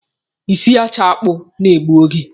Isicha akpụ na-egbu oge.